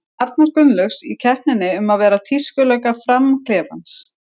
Arnar Gunnlaugs, í keppninni um að vera tískulögga Fram-klefans.